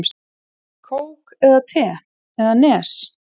Kók eða te eða Nes?